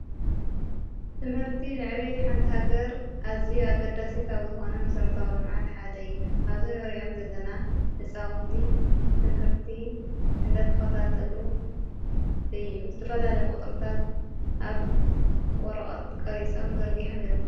ትምህርቲ ንዕቤት ሓንቲሃገር ኣዚዩ ኣገዳሲ ካብ ዝኾነ መሠረታዊ ለመዓት ሓደ ይ ኣብዘ ነርኦም ዘለና ልፃውንቲ ትምህርቲ እንደተኸታተሉ እዩ ዘተፈላ ለይ ቝጽርታት ኣብ ወረቐት ቀሪጾም ዘርጊሖም ይርከቡ።